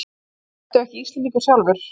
Ertu ekki Íslendingur sjálfur?